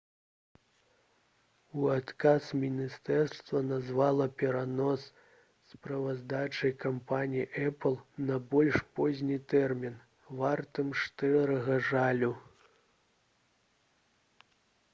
у адказ міністэрства назвала перанос справаздачы кампаніяй «эпл» на больш позні тэрмін «вартым шчырага жалю»